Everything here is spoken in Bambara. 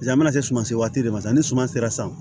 A mana se sumasi waati de ma sisan ni suman sera san